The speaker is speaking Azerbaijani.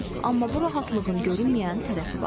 Amma bu rahatlığın görünməyən tərəfi var.